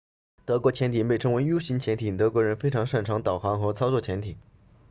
德国潜艇被称为 u 型潜艇德国人非常擅长导航和操作潜艇